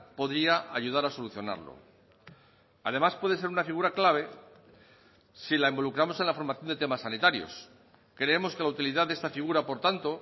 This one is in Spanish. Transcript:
podría ayudar a solucionarlo además puede ser una figura clave si la involucramos en la formación de temas sanitarios creemos que la utilidad de esta figura por tanto